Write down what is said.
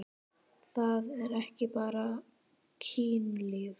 Það er ekki bara kynlíf.